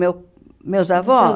meu meus avós?